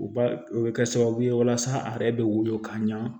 U b'a o bɛ kɛ sababu ye walasa a yɛrɛ bɛ wolo ka ɲɛ